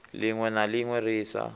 linwe na linwe ri sa